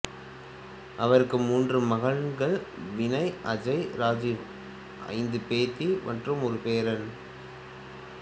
அவருக்கு மூன்று மகன்கள் வினய் அஜய் ராஜீவ் ஐந்து பேத்தி மற்றும் ஒரு பேரன்